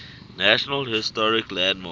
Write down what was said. national historic landmarks